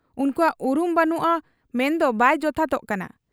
ᱩᱱᱠᱩᱣᱟᱜ ᱩᱨᱩᱢ ᱵᱟᱹᱱᱩᱜ ᱟ ᱢᱮᱱᱫᱚ ᱵᱟᱭ ᱡᱚᱛᱷᱟᱛᱚᱜ ᱠᱟᱱᱟ ᱾